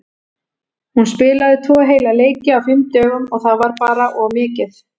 Hún spilaði tvo heila leiki á fimm dögum og það var bara of mikið.